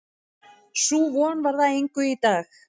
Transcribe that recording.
Sú von varð að engu í dag.